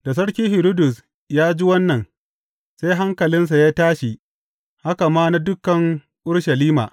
Da Sarki Hiridus ya ji wannan, sai hankalinsa ya tashi haka ma na dukan Urushalima.